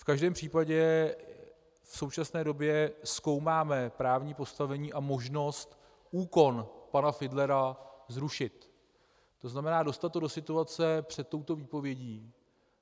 V každém případě v současné době zkoumáme právní postavení a možnost úkon pana Fidlera zrušit, to znamená dostat to do situace před touto výpovědí.